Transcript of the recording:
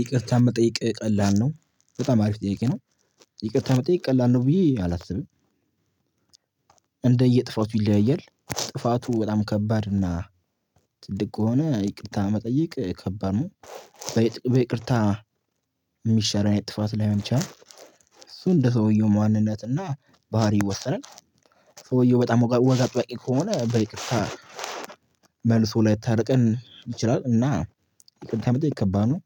ይቅርታ መጠየቅ ቀላል ነው በጣም አሪፍ ጥያቄ ነው። ይቅርታ መጠየቅ ቀላል ነው ብዬ አላስብም። እንደየጥፋቱ ይለያያል ጥፋቱ በጣም ከባድ እና ትልቅ ከሆነ ይቅርታ መጠየቅ ከባድ ነው። ይቅርታ በይቅርታ የሚሻር አይነት ጥፋት ላይሆን ይችላል። እሱ እንደ ሰውየው ማንነት እና ባህሪ ይወሰናል። ሰውየው በጣም ወግ አጠባቂ ከሆነ በይቅርታ መልሱ ላይታርቀን ይችላል እና ይቅርታ መጠየቅ ከባድ ነው።